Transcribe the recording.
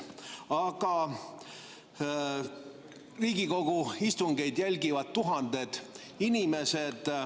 Aga Riigikogu istungeid jälgivad tuhanded inimesed.